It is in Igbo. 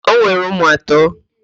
O nwere ụmụ atọ?